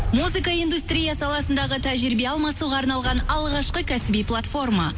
музыка индустрия саласындағы тәжірибе алмасуға арналған алғашқы кәсіби платформа